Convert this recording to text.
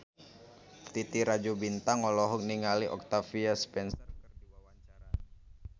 Titi Rajo Bintang olohok ningali Octavia Spencer keur diwawancara